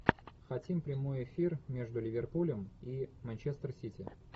хотим прямой эфир между ливерпулем и манчестер сити